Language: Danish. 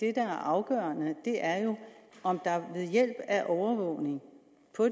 er afgørende er jo om der ved hjælp af overvågning